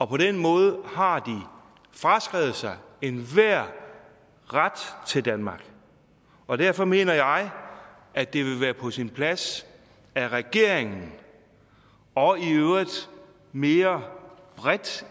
på den måde har de fraskrevet sig enhver ret til danmark og derfor mener jeg at det ville være på sin plads at regeringen og i øvrigt mere bredt